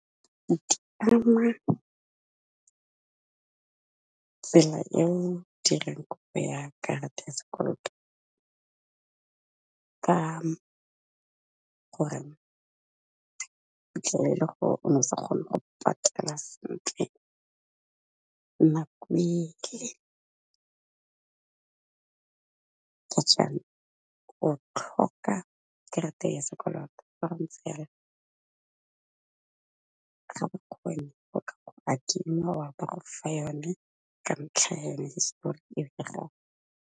Tsela eo dirang kopo ya karata ya sekoloto ka gore o fitlhelele gore o ne o sa kgone go patela sentle, nakwe kgutshwane o tlhoka karata ya sekoloto, fa go ntse jalo ba gofa yone ka ntlha ya yone hisetori eo ya gago.